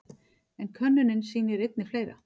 En könnunin sýnir einnig fleira.